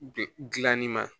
Gilanni ma